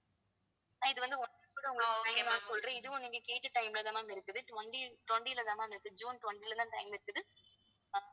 இது வந்து ஒண்ணு கூட உங்களை சொல்றேன் இதுவும் நீங்க கேட்ட time லதான் ma'am இருக்குது twenty twenty லதான் ma'am இருக்குது ஜூன் twenty லதான் time இருக்குது